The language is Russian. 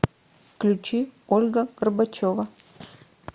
включи ольга горбачева